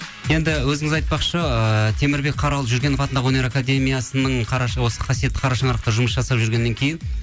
енді өзіңіз айтпақшы ыыы темірбек қарал жүргенов атындағы өнер академиясының қарашығы осы қасиетті қара шаңырақта жұмыс жасап жүргеннен кейін